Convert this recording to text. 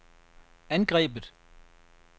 angrebet